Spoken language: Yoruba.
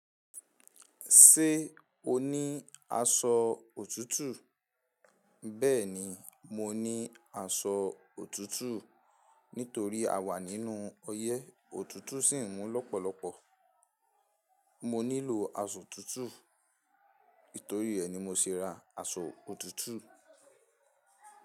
Ṣé o ní aṣọ òtútù? Bẹ́ẹ̀ni, mo ní aṣọ òtútù. Nítorí a wà nínú oyé òtútù sì ń mú lọ́pọ̀lọpọ̀. Mo nílò aṣọ òtútù. Nítorí ẹ ni mo se ra aṣọ òtútù.